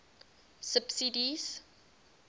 subsidies